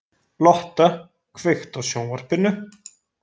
Lotta, kveiktu á sjónvarpinu.